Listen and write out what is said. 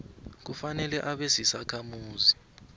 kufanele abe sisakhamuzi